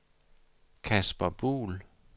Casper Buhl